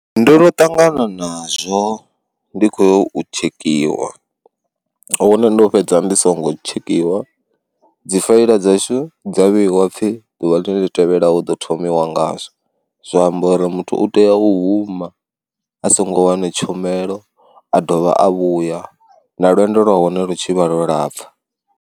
Ndo no ṱangana nazwo ndi khoyo u tshekiwa hune ndo fhedza ndi songo tshekhiwa dzi faela dzashu dza vheiwa pfhi ḓuvha ḽine tevhelaho ḓo thomiwa ngazwo, zwa amba uri muthu u tea u huma a songo wana tshomelo a dovha a vhuya na lwendo lwa hone lu tshivha lwo lapfha.